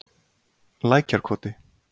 Lækjarkoti